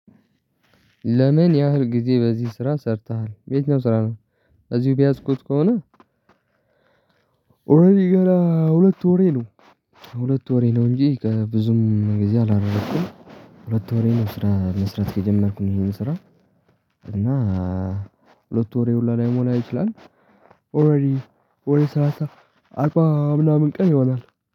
ለምን ያህል ጊዜ በዚህ ስራ ሰርተሃል የትኛው ስራ ነው? እዚሁ የያዝኩት ከሆነ። ገና ሁለት ወሬ ነው። ሁለት ወሬ ነው እንጂ ብዙም ጊዜ አላረኩም። ሁለት ወሬ ነው ስራ መስራት ከጀመርኩኝ ይህን ስራ። እና ሁለት ወሬ ሁላ ላይሞላ ይችላል። ወይ ወይ ሰላሳ አርባ ምናምን ቀን ይሆናል